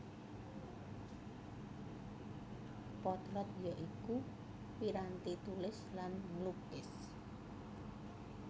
Potlot ya iku piranti tulis lan nglukis